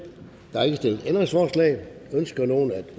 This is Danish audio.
der er ikke stillet ændringsforslag ønsker nogen at